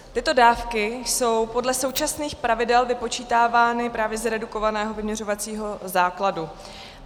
Tyto dávky jsou podle současných pravidel vypočítávány právě z redukovaného vyměřovacího základu.